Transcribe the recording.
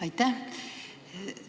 Aitäh!